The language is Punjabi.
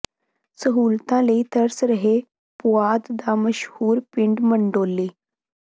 ਸਹੂਲਤਾਂ ਲਈ ਤਰਸ ਰਿਹੈ ਪੁਆਧ ਦਾ ਮਸ਼ਹੂਰ ਪਿੰਡ ਮੰਡੌਲੀ